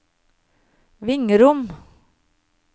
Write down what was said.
Vingrom